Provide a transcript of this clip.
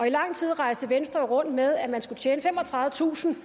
i lang tid rejste venstre jo rundt med at man skulle tjene femogtredivetusind